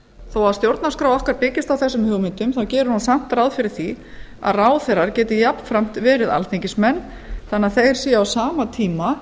þó að stjórnarskrá okkar byggist á þessum hugmyndum gerir hún samt ráð fyrir að ráðherrar geti jafnframt verið alþingismenn þannig að þeir séu á sama tíma